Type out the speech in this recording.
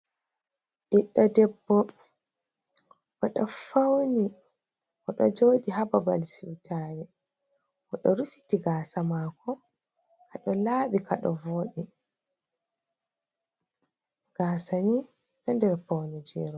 Biddo ɗebbo oɗo fauni, oɗo jodi hababal siutare. Odo rufiti gasa mako, odo labi kado voɗi gasani ɗo nder fauneje robe.